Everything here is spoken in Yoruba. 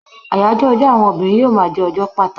Ayajo ọjọ àwọn obìnrin yíò ma je ọjọ pàtàkì